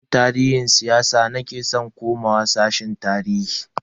Ina san tarihi shiyasa nake san komawa sashen tarihi.